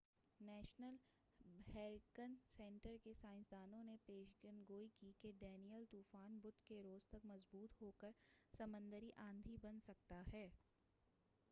national hurricane centre کے سائنسدانوں نے پیش گوئی کی ہے کہ ڈینیئل طوفان بدھ کے روز تک مضبوط ہوکر سمندری آندھی بن سکتا ہے